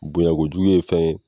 Bonɲako jugu ye fɛn ye.